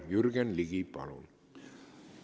Jürgen Ligi, palun!